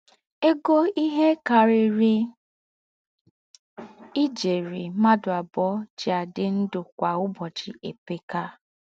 Égó íhe kàrírí íjérì m̀ádụ́ àbùọ̀ jí àdí ndụ́ kwá ụ̀bọ́chì èpékà.